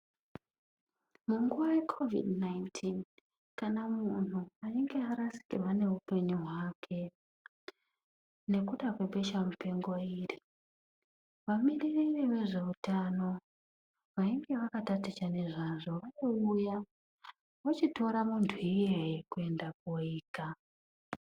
Munguwa yekhovhidhi nainitini kana munhu einga arasikirwa neupenyu hwake nekuda kwebesha mupengo iri. Vamiririri vezveutano vainge vakataticha nezvazvo vaiuya vochitora muntu iyeye kwenda koika.